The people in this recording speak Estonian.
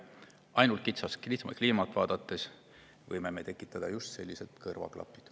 Ainult kitsalt kliimat vaadates me võime tekitada just sellised kõrvaklapid.